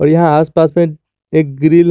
यहां आस पास में एक ग्रिल है।